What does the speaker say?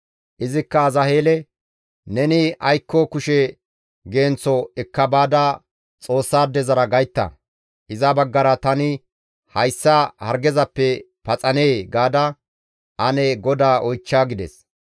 Izikka Azaheele, «Neni aykko kushe genththo ekka baada Xoossaadezara gaytta. Iza baggara, ‹Tani hayssa hargezappe paxanee?› gaada ane GODAA oychcha» gides.